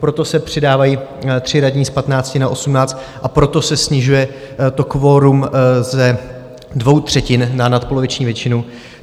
Proto se přidávají tři radní z 15 na 18 a proto se snižuje to kvorum ze dvou třetin na nadpoloviční většinu.